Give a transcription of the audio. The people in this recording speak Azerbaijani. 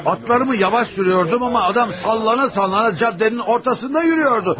Atlarımı yavaş sürürdüm, amma adam sallana-sallana küçənin ortasında yeriyirdi.